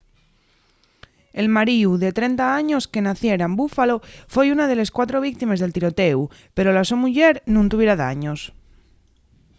el maríu de 30 años que naciera en buffalo foi una de les cuatro víctimes del tirotéu pero la so muyer nun tuviera daños